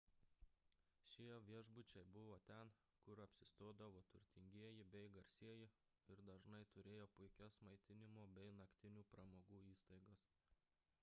šie viešbučiai buvo ten kur apsistodavo turtingieji bei garsieji ir dažnai turėjo puikias maitinimo bei naktinių pramogų įstaigas